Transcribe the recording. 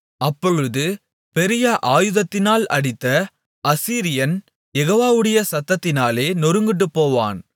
அப்பொழுது பெரிய ஆயுதத்தினால் அடித்த அசீரியன் யெகோவாவுடைய சத்தத்தினாலே நொறுங்குண்டு போவான்